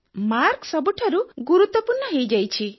mark ସବୁଠାରୁ ଗୁରୁତ୍ୱ ପୂର୍ଣ୍ଣ ହୋଇ ଯାଇଛି